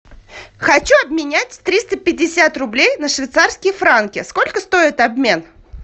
хочу обменять триста пятьдесят рублей на швейцарские франки сколько стоит обмен